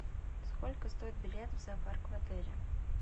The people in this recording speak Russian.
сколько стоит билет в зоопарк в отеле